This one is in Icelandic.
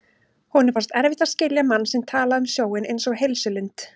Honum fannst erfitt að skilja mann sem talaði um sjóinn einsog heilsulind.